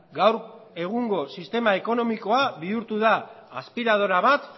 gaur egungo sistema ekonomikoa bihurtu da aspiradora bat